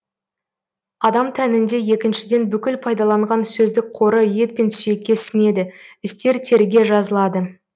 адам тәнінде екіншіден бүкіл пайдаланған сөздік қоры ет пен сүйекке сіңеді істер теріге жазылады